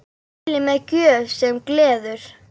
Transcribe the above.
Mæli með Gröf sem gleður.